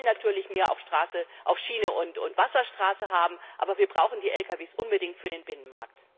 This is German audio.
Wir wollen natürlich mehr auf Schiene und Wasserstraße haben, aber wir brauchen die Lkw unbedingt für den Binnenmarkt.